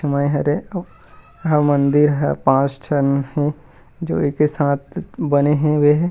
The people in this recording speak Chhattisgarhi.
तुम्ह हरे -- और मंदिर है पास्ट में ही जो एक साथ बने हे ।--